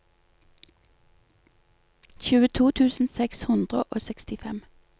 tjueto tusen seks hundre og sekstifem